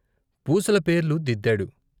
పూసల పేర్లు దిద్దాడు.